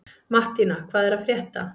Mattína, hvað er að frétta?